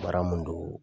Baara mun don